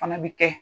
Fana bɛ kɛ